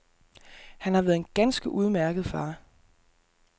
Han har været en ganske udmærket far.